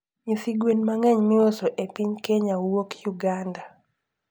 Nyithi gwen mangeny miuso e piny Kenya wuoko Uganda